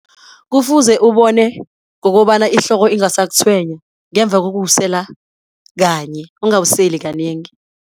Kufuze ubone ngokobana ihloko ingasakutshwenya ngemva kokuwusela kanye, ungawuseli kanengi.